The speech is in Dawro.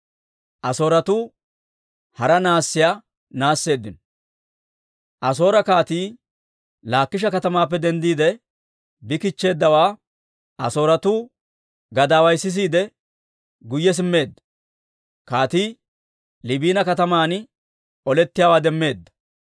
Asoore kaatii Laakisha katamaappe denddiide bi kichcheeddawaa Asooretuu gadaaway sisiide, guyye simmeedda. Kaatii Liibina kataman olettiyaawaa demmeedda.